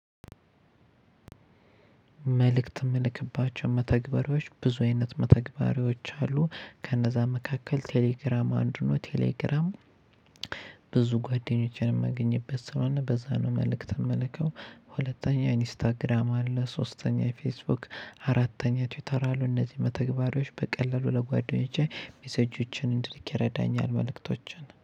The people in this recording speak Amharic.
መልእክት የምልክባቸው መተግበሪዎች ብዙ አይነት መተግበሪዎች አሉ ከነዛ መካከል ቴሌግራም አንዱ ነው ቴሌግራም ብዙ ጓደኞችን የማገኝበት ስለሆነ በዛ ነው። መልእክት የምልከው ሁለተኛ ኢንስታግራም አለ ሶስተኛ ፌስቡክ አራተኛ ትዊተር አሉ እነዚህ መተግባሪዎች በቀለሉ ለጓደኞቼ ሜሴጆችን እንድልክ ይረዳኛል። መልእክቶችን